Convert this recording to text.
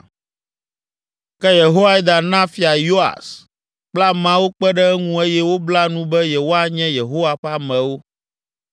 Ke Yehoiada na Fia Yoas kple ameawo kpe ɖe eŋu eye wobla nu be yewoanye Yehowa ƒe amewo.